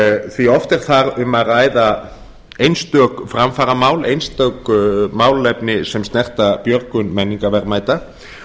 því oft er þar um að ræða einstök framfaramál einstök málefni sem snerta björgun menningarverðmæta